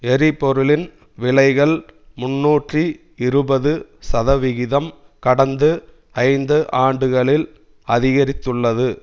எரிபொருளின் விலைகள் முன்னூற்றி இருபது சதவிகிதம் கடந்த ஐந்து ஆண்டுகளில் அதிகரித்துள்ளது